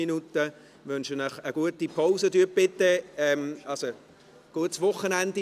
Ich wünsche Ihnen ein gutes Wochenende.